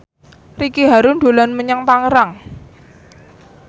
Ricky Harun dolan menyang Tangerang